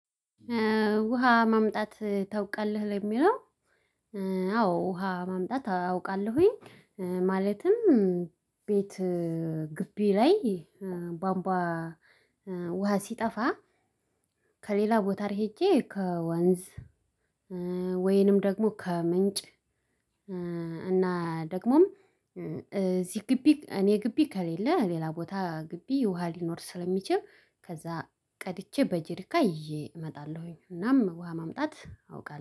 ውሃ ማምጣት ታውቃለህ ለሚለው? አዎ ውሃ ማምጣት አውቃለሁኝ። ማለትም ቤት ግቢ ላይ ቧምቧ ውሃ ሲጠፋ። ከሌላ ቦታ ሄጄ ከወንዝ ወይንም ደግሞ ከምንጭ። እና ደግሞም እዚህ ግቢ እኔ ግቢ ከሌለ ሌላ ቦታ ግቢ ውሃ ሊኖር ስለሚችል ከዛ ቀድቼ በጅሪካ ይዤ እመጣለሁኝ። እናም ውሃ ማምጣት አውቃለሁ